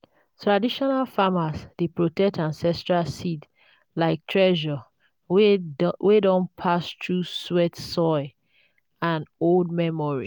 traditional farmers dey protect ancestral seeds like treasure wey don pass through sweat soil and old memory.